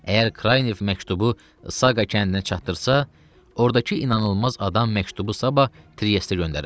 Əgər Kraynev məktubu Saqa kəndinə çatdırsa, ordakı inanılmaz adam məktubu sabah Trieste göndərər.